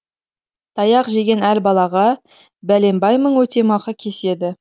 таяқ жеген әр балаға бәленбай мың өтемақы кеседі